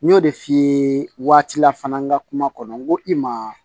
N y'o de f'i ye waati la fana n ka kuma kɔnɔ n ko i ma